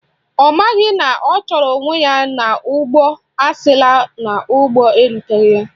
Ọ maghị na ọ chụrụ onwe ya n'ụgbọ asila n'ụgbọ eruteghi ya.